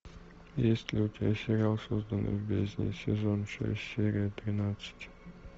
есть ли у тебя сериал созданный в бездне сезон шесть серия тринадцать